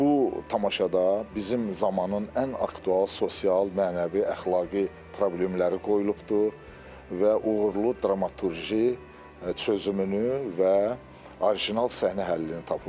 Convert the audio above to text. Bu tamaşada bizim zamanın ən aktual sosial, mənəvi, əxlaqi problemləri qoyulubdur və uğurlu dramaturji çözümünü və orijinal səhnə həllini tapıbdır.